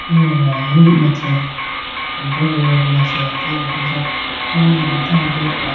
yo ahi machi ambrogoyi machi elategayi bi jiya po towaya bo jiyapo.